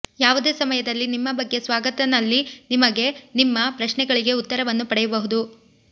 ಯಾವುದೇ ಸಮಯದಲ್ಲಿ ನಿಮ್ಮ ಬಗ್ಗೆ ಸ್ವಾಗತ ನಲ್ಲಿ ನಿಮಗೆ ನಿಮ್ಮ ಪ್ರಶ್ನೆಗಳಿಗೆ ಉತ್ತರವನ್ನು ಪಡೆಯಬಹುದು